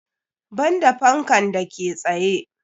Banda fankan da ke tsaye.